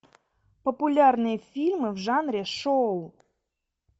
популярные фильмы в жанре шоу